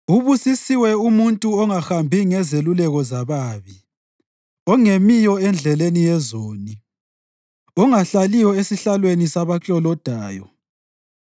Ubusisiwe umuntu ongahambi ngezeluleko zababi; ongemiyo endleleni yezoni; ongahlaliyo esihlalweni sabaklolodayo.